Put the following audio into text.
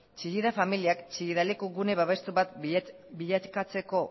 chillida familiak chillida leku gune babestu bat bilakatzeko